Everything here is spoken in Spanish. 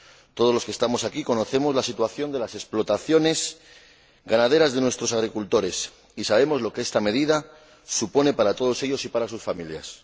Todos los que estamos aquí conocemos la situación de las explotaciones ganaderas de nuestros agricultores y sabemos lo que estas medidas suponen para todos ellos y para sus familias.